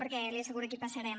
perquè li asseguro que hi passarem